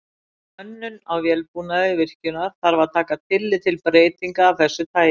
Við hönnun á vélbúnaði virkjunar þarf að taka tillit til breytinga af þessu tagi.